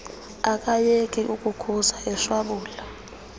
akayeka ukukhuza eshwabula